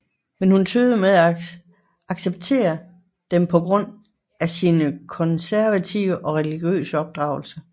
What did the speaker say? Men hun tøvede med at acceptere dem på grund af sin konservative og religiøse opdragelse